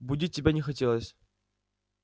будить тебя не хотелось